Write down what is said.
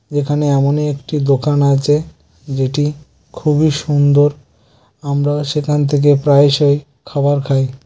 এখানে এমনি একটি দোকান আছে যেটি খুবই সুন্দর আমরা সেখান থেকে প্রায়শই খাবার খাই ।